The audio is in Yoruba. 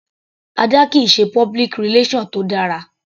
Ada kìí ṣe public relation tó dára.